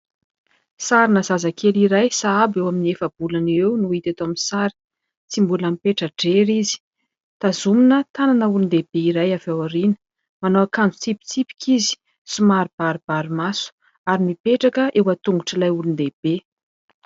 Sarina zazakely iray sahabo eo amin'ny efa-bolana eo eo no hita eto amin'ny sary. Tsy mbola mipetra-drery izy. Tazomina tanana olon-dehibe iray avy ao aoriana. Manao akanjo tsipitsipika izy, somary baribary maso ary mipetraka eo an-tongotr'ilay olon-dehibe.